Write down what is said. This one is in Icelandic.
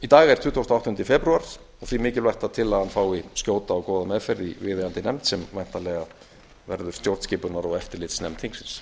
í dag er tuttugasti og áttunda febrúar því mikilvægt að tillagan fái skjóta og góða meðferð í viðeigandi nefnd sem væntanlega verður stjórnskipunar og eftirlitsnefnd þingsins